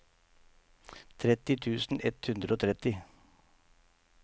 tretti tusen ett hundre og tretti